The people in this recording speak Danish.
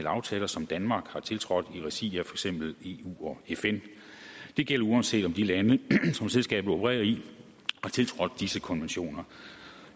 aftaler som danmark har tiltrådt i regi af for eksempel eu og fn det gælder uanset om de lande som selskabet opererer i har tiltrådt disse konventioner